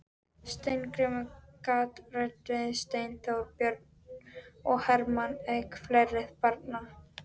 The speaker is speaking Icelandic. Steingrímur gat Rannveigu, Steinþór, Björn og Hermann, auk fleiri barna.